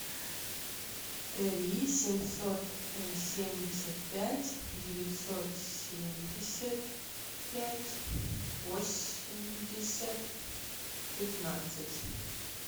три семьсот семьдесят пять девятьсот семьдесят пять восемьдесят пятнадцать